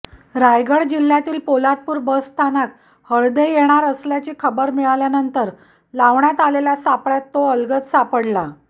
रायगड जिल्हय़ातील पोलादपूर बसस्थानकात हळदे येणार असल्याची खबर मिळाल्यानंतर लावण्यात आलेल्या सापळय़ात तो अलगद सापडला